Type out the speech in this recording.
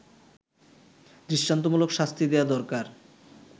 দৃষ্টান্তমূলক শাস্তি দেয়া দরকার